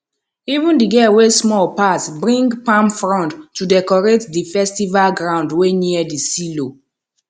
even the girl wey small pass bring palm frond to decorate di festival ground wey near the silo